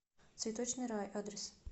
цветочный рай адрес